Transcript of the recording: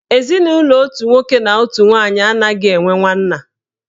Ezinụlọ otu nwoke na otu nwaanyị anaghị enwe nwanna.